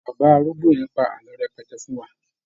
Bàbá arúgbó yẹn pa àlọ́ rẹpẹtẹ fún wa.